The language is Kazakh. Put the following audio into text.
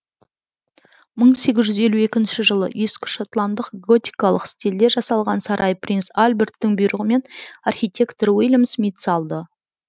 мың сегіз жүз елу екінші жылы ескішотландық готикалық стилде жасалған сарай принц альберттің бұйрығымен архитектор уильям смит салды